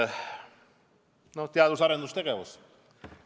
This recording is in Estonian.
Aga võtame teadus- ja arendustegevuse.